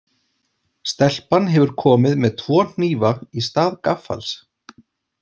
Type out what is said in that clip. Stelpan hefur komið með tvo hnífa í stað gaffals.